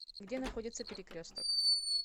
где находится перекресток